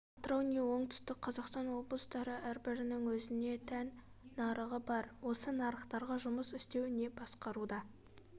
атырау не оңтүстік қаазақстан облыстыры әрбірінің өзіне тән нарығы бар осы нарықтарға жұмыс істеу және басқаруда